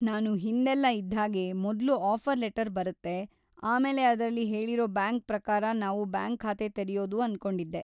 ನಾನು ಹಿಂದೆಲ್ಲ ಇದ್ಹಾಗೆ ಮೊದ್ಲು ಆಫರ್ ಲೆಟರ್ ಬರತ್ತೆ, ಆಮೇಲೆ ಅದ್ರಲ್ಲಿ ಹೇಳೀರೋ ಬ್ಯಾಂಕ್ ಪ್ರಕಾರ ನಾವು ಬ್ಯಾಂಕ್ ಖಾತೆ ತೆರೆಯೋದು ಅನ್ಕೊಂಡಿದ್ದೆ.